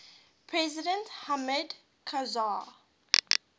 president hamid karzai